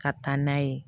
Ka taa n'a ye